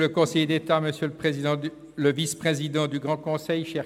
Wir lehnen ihn einstimmig ab.